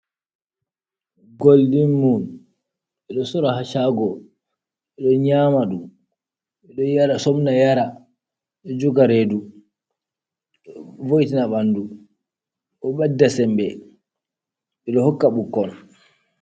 Goldin mun be do sora hashago be do nyamadum, bedo somna yara dojoga redu do voina bandu dobedda sembe bedo hokka bukkon.